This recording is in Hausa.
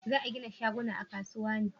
za a gina shaguna a kasuwa ne?